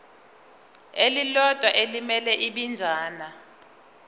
elilodwa elimele ibinzana